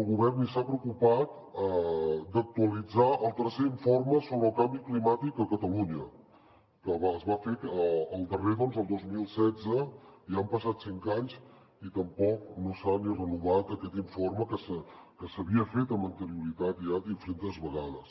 el govern ni s’ha preocupat d’actualitzar el tercer informe sobre el canvi climàtic a catalunya que es va fer el darrer el dos mil setze ja han passat cinc anys i tampoc no s’ha ni renovat aquest informe que s’havia fet amb anterioritat ja diferents vegades